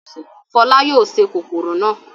Fọlá yóò se kòkòrò náà.